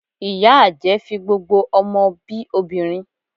Ìyá àjẹ́ fi gbogbo ọmọ bi obìnrin